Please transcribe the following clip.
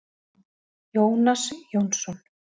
Jónas Jónsson.